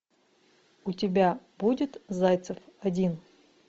у тебя будет зайцев один